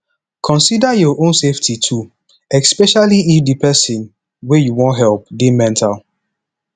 consider your own safety too especially if di person wey you wan help dey mental